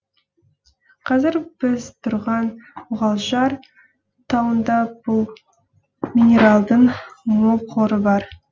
қазір біз тұрған мұғалжар тауында бұл минералдың мол қоры бар